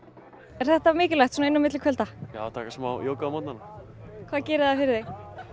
er þetta mikilvægt svona inn á milli kvölda já að taka smá jóga á morgnana hvað gerir það fyrir þig